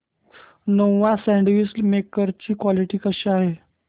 Nova sandwich maker ची quality कशी आहे